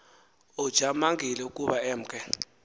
ujamangile ukuba emke